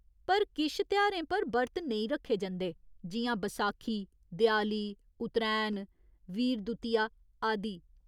पर किश तेहारें पर बर्त नेईं रक्खे जंदे, जि'यां बसाखी, देआली, उत्रैण, वीर दुतिया आदि।